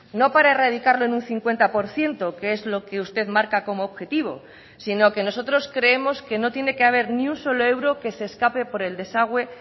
no para erradicarlo en un cincuenta por ciento que es lo que usted marca como objetivo sino que nosotros creemos que no tiene que haber ni un solo euro que se escape por el desagüe